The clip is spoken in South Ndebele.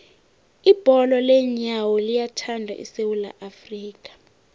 ibholo leenyawo liyathandwa esewula afrika